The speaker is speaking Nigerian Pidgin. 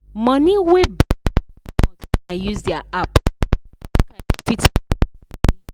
money wey bank da comot when i use dia app da make i no fit plan my money